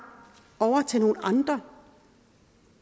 over til nogle andre